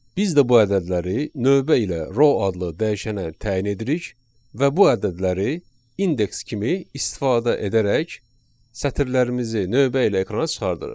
Biz də bu ədədləri növbə ilə row adlı dəyişənə təyin edirik və bu ədədləri indeks kimi istifadə edərək sətirlərimizi növbə ilə ekrana çıxarırıq.